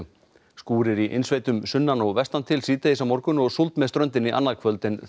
skúrir í innsveitum sunnan og vestan til síðdegis á morgun og súld með ströndinni annað kvöld en